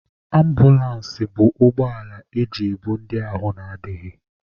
Ambụlans bụ ụgbọala eji ebu ndị ahụ adịghị.